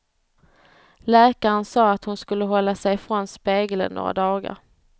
Läkaren sa att hon skulle hålla sig ifrån spegeln några dagar.